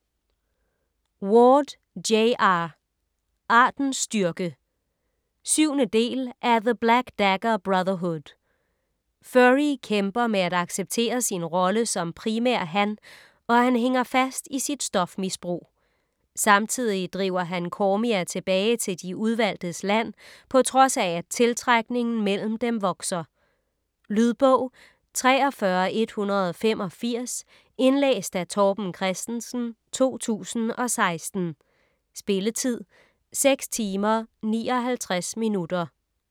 Ward, J. R.: Artens styrke 7. del af The black dagger brotherhood. Phury kæmper med at acceptere sin rolle som primærhan, og han hænger fast i sit stofmisbrug. Samtidig driver han Cormia tilbage til De Udvalgtes Land på trods af at tiltrækningen mellem dem vokser. . Lydbog 43185 Indlæst af Torben Christensen, 2016. Spilletid: 6 timer, 59 minutter.